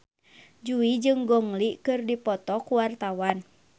Jui jeung Gong Li keur dipoto ku wartawan